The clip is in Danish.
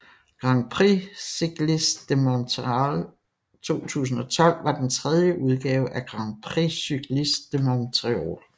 Grand Prix Cycliste de Montréal 2012 var den tredje udgave af Grand Prix Cycliste de Montréal